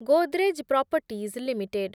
Godrej Properties limited